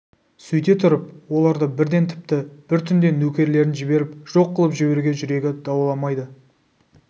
сөйте тұрып оларды бірден тіпті бір түнде нөкерлерін жіберіп жоқ қылып жіберуге жүрегі дауаламайды